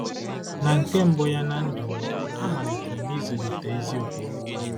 Na nke mbụ ya ná ndụ m, amalitere m ịzụlite ezi okwukwe.